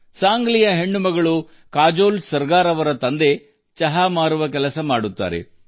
ಸಾಂಗ್ಲಿಯ ಮಗಳು ಕಾಜೋಲ್ ಸರ್ಗರ್ ಅವರ ತಂದೆ ಚಹಾ ಮಾರಾಟಗಾರರಾಗಿ ಕೆಲಸ ಮಾಡುತ್ತಾರೆ